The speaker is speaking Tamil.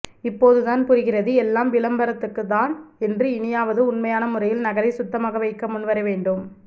இப்போதுதான் புரிகிறது எல்லாம் விளம்பரத்துக்கு தான் என்று இனியாவது உண்மையான முறையில் நகரை சுத்தமாக வைக்க முன்வர வேண்டும்